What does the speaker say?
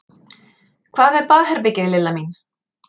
Hvað með baðherbergið, Lilla mín?